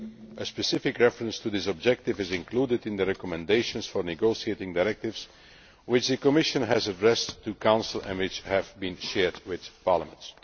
A specific reference to this objective is included in the recommendations for negotiating directives which the Commission has addressed to Council and which have been shared with Parliament.